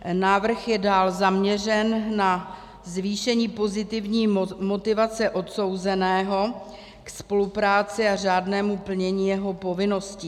Návrh je dál zaměřen na zvýšení pozitivní motivace odsouzeného k spolupráci a řádnému plnění jeho povinností.